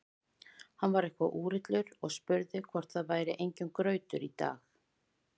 Hann var eitthvað úrillur og spurði hvort það væri enginn grautur í dag.